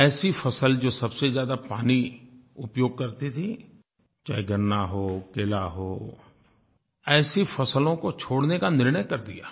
ऐसी फसल जो सबसे ज्यादा पानी उपयोग करती थी चाहे गन्ना हो केला हो ऐसी फसलों को छोड़ने का निर्णय कर लिया